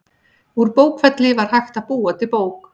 Úr bókfelli var hægt að búa til bók.